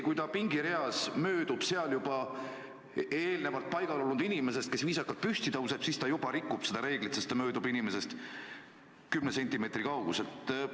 Aga kui ta möödub pingireas eelnevalt koha sisse võtnud inimesest, kes viisakalt püsti tõuseb, siis juba ta rikub seda reeglit, sest ta möödub teisest inimestest kümne sentimeetri kauguselt.